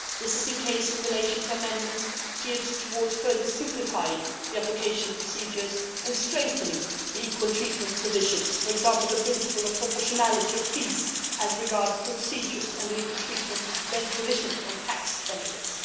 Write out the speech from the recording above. This is in relation to amendments geared towards further simplifying the application procedures and strengthening the equal treatment provisions for example, the principle of proportionality of fees as regards procedures and the equal treatment provisions on tax benefits.